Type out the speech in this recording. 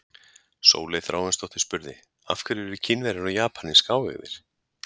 Sóley Þráinsdóttir spurði: Af hverju eru Kínverjar og Japanir skáeygðir?